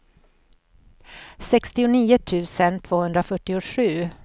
sextionio tusen tvåhundrafyrtiosju